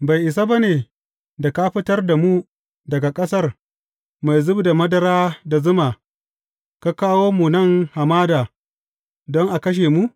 Bai isa ba ne da ka fitar da mu daga ƙasar mai zub da madara da zuma, ka kawo mu nan hamada don ka kashe mu?